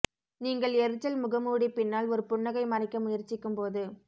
நீங்கள் எரிச்சல் முகமூடி பின்னால் ஒரு புன்னகை மறைக்க முயற்சிக்கும் போது